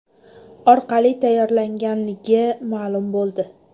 orqali tayyorlanganligi ma’lum bo‘ldi.